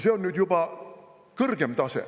See on nüüd juba kõrgem tase.